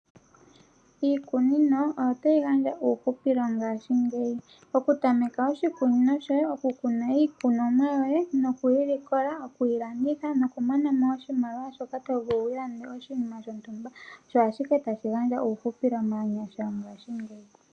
Iikunino oyo tayi gandja uuuhupilo ngaashingeyi, oku tameka oshikunino shoye, oku kuna iikonomwa yoye, nokuyi li kola, okuyi landitha noku mona mo oshimaliwa shoka tovulu wiilandele oshinima shontumba osho ashike tashi gandja uuhupilo maanyasha ngaashingeyi.